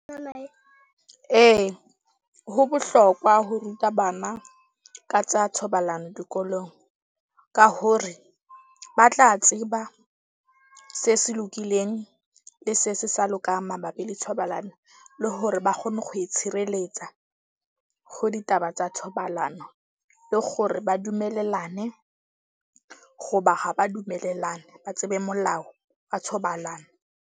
Ee ho bohlokwa ho ruta bana ka tsa thobalano dikolong. Ka hore ba tla tseba se se lokileng le se se sa lokang mabapi le thobalano, le hore ba kgone go itshireletsa ho ditaba tsa thobalano. Le gore ba dumelellane goba ha ba dumelellana. Ba tsebe molao wa thobalano.